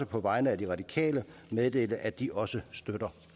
på vegne af de radikale meddele at de også støtter